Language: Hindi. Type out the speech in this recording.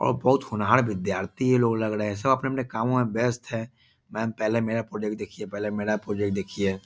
और बहुत होनहार विद्यार्थी ये लोग लग रहे है सब अपने-अपने कामों में व्यस्त है मैम पहले मेरा प्रोजेक्ट देखिये पहले मेरा प्रोजेक्ट देखिये।